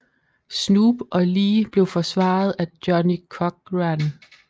Snoop og Lee blev forsvaret af Johnnie Cochran